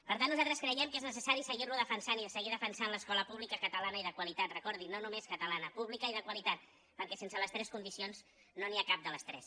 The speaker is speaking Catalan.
per tant nosaltres creiem que és necessari seguir lo defensant i seguir defensant l’escola pública catalana i de qualitat recordin no només catalana pública i de qualitat perquè sense les tres condicions no n’hi ha cap de les tres